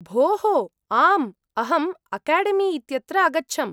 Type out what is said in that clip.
भोः! आम्, अहं अकाडेमी इत्यत्र अगच्छम्।